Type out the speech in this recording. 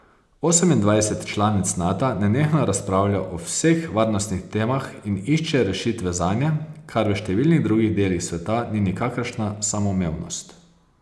Osemindvajset članic Nata nenehno razpravlja o vseh varnostnih temah in išče rešitve zanje, kar v številnih drugih delih sveta ni nikakršna samoumevnost.